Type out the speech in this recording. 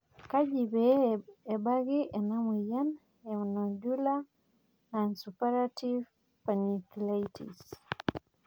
kaji ikoni pee ebaki ena moyian e nodular nonsuppurative panniculitis